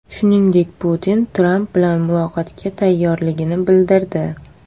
Shuningdek, Putin Tramp bilan muloqotga tayyorligini bildirdi.